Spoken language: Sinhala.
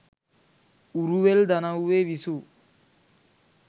උරුවෙල් දනව්වේ විසූ